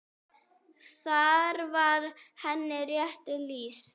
Þar var henni rétt lýst.